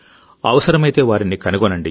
అవసరమైతేవారిని కనుగొనండి